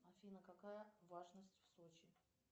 афина какая влажность в сочи